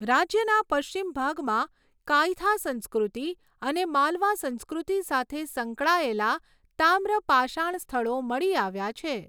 રાજ્યના પશ્ચિમ ભાગમાં કાયથા સંસ્કૃતિ અને માલવા સંસ્કૃતિ સાથે સંકળાયેલા તામ્રપાષાણ સ્થળો મળી આવ્યા છે.